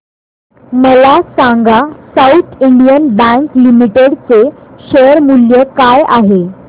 मला सांगा south Indian bank limited चे शेअर मूल्य काय आहे